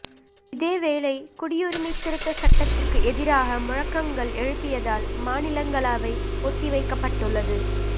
இதேவேளை குடியுரிமை திருத்தச் சட்டத்திற்கு எதிராக முழக்கங்கள் எழுப்பியதால் மாநிலங்களவை ஒத்திவைக்கப்பட்டுள்ளது